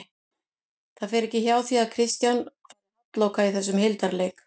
Það fer ekki hjá því að Kristján fari halloka í þessum hildarleik